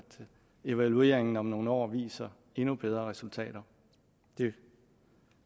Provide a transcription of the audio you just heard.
evalueringen om nogle år viser endnu bedre resultater det